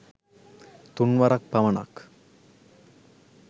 තුන් වරක් පමණක්